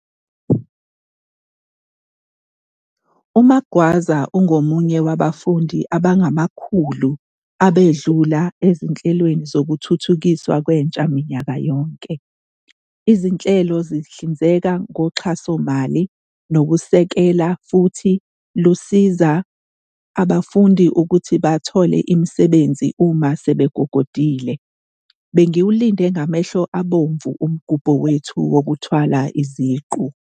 UMagwaza ungomunye wabafundi abangamakhulu abedlula ezinhlelweni zokuthuthukiswa kwentsha minyaka yonke. Izinhlelo zihlinzeka ngoxhasomali nokusekela futhi lusiza abafundi ukuthi bathole imisebenzi uma sebegogodile. "Bengiwulinde ngamehlo abomvu umgubho wethu wokuthwala iziqu."